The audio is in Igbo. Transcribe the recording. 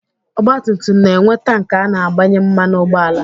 Ọgba tum tum na-enwe tank a na-agbanye mmanụ ụgbọala.